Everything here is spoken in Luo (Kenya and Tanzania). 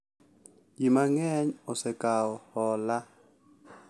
Ji mang’eny osekawo hola,